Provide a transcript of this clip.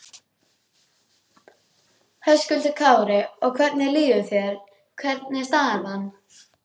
Höskuldur Kári: Og hvernig líður þér, hvernig er staðan?